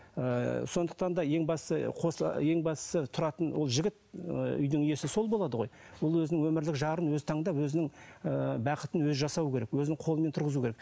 ыыы сондықтан да ең бастысы ең бастысы тұратын ол жігіт ы үйдің иесі сол болады ғой ол өзінің өмірлік жарын өзі таңдап өзінің ыыы бақытын өзі жасау керек өзінің қолымен тұрғызу керек